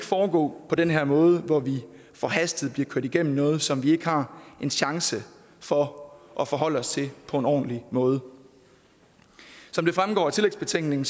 foregå på den her måde hvor vi forhastet bliver kørt igennem noget som vi ikke har en chance for at forholde os til på en ordentlig måde som det fremgår af tillægsbetænkningen